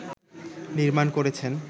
নির্মাণ করেছেন